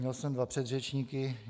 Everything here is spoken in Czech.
Měl jsem dva předřečníky.